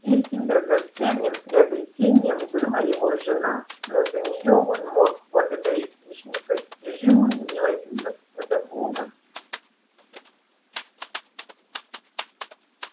третьим драгоценным приобретением была его жена но за неё он мог благодарить лишь непостижимую милость господа бога